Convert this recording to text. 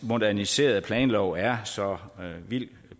moderniserede planlov er så vildt